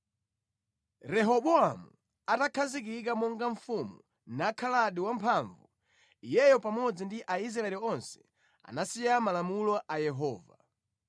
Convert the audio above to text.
Rehobowamu atakhazikika monga mfumu nakhaladi wamphamvu, iyeyo pamodzi ndi Aisraeli onse anasiya malamulo a Yehova.